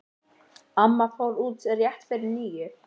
Amma fór út rétt fyrir níu.